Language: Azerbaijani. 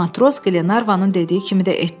Matros Qlenarvanın dediyi kimi də etdi.